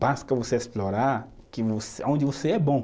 Basta você explorar que vó, aonde você é bom.